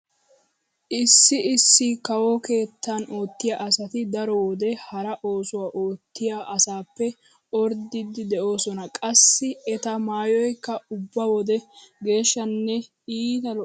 Issi issi kawo keettan oottiya asati daro wode hara oosuwa oottiya asaappe orddidi de'oosona. Qassi eta maayoykka ubba wode geshshanne iita lo'ees.